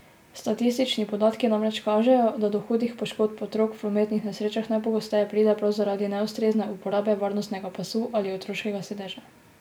Statistični podatki namreč kažejo, da do hudih poškodb otrok v prometnih nesrečah najpogosteje pride prav zaradi neustrezne uporabe varnostnega pasu ali otroškega sedeža.